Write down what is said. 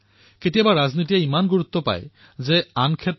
নমস্কাৰ প্ৰধানমন্ত্ৰী মহোদয় মই মুম্বাইৰ পৰা প্ৰমিতা মুখাৰ্জীয়ে কৈ আছো